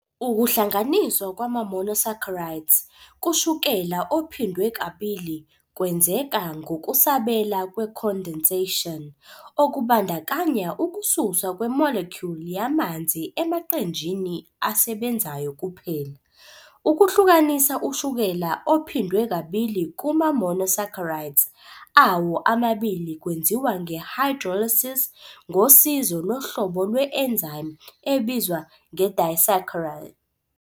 Ukuhlanganiswa kwama-monosaccharides kushukela ophindwe kabili kwenzeka ngokusabela kwe-condensation, okubandakanya ukususwa kwe-molecule yamanzi emaqenjini asebenzayo kuphela. Ukuhlukanisa ushukela ophindwe kabili kuma-monosaccharides awo amabili kwenziwa nge-hydrolysis ngosizo lohlobo lwe-enzyme ebizwa nge-disaccharidase.